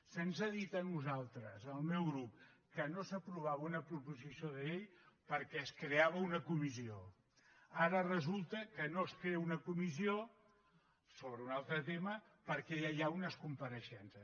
se’ns ha dit a nosaltres al meu grup que no s’aprovava una proposició de llei perquè es creava una comissió ara resulta que no es crea una comissió sobre un altre tema perquè ja hi ha unes compareixences